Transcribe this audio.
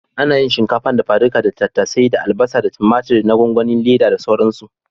Ana yin shinkafa dafa-suka da tattasai da albasa da tumatur na gwangwani/Leda da sauransu.